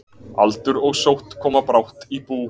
Aldur og sótt koma brátt í bú.